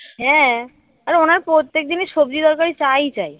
হ্যাঁ আর ওনার প্রত্যেক দিনই সবজি তরকারি চাই চাই